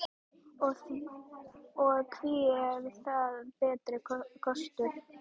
Og hví er það betri kostur?